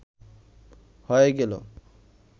হয়ে গেল